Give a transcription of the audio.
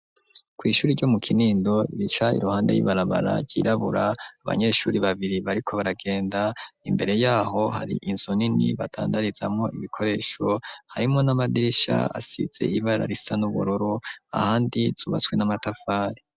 Kw'ishuri ryo mu kinindo bica iruhande y'ibarabara ryirabura abanyeshuri babiri bariko baragenda imbere yaho hari inzu nini batandarizamwo ibikoresho harimwo n'amadirisha asize ibara risa n'uburu ahandi zubatswe n'amatafari.